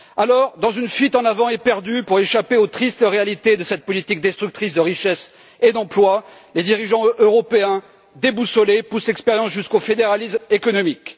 Dès lors, dans une fuite en avant éperdue pour échapper aux tristes réalités de cette politique destructrice de richesses et d'emplois, les dirigeants européens déboussolés poussent l'expérience jusqu'au fédéralisme économique.